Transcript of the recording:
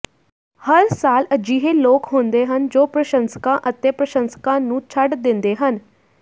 ਹਰ ਸਾਲ ਅਜਿਹੇ ਲੋਕ ਹੁੰਦੇ ਹਨ ਜੋ ਪ੍ਰਸ਼ੰਸਕਾਂ ਅਤੇ ਪ੍ਰਸ਼ੰਸਕਾਂ ਨੂੰ ਛੱਡ ਦਿੰਦੇ ਹਨ